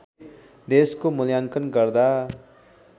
देशको मुल्याङ्कन गर्दा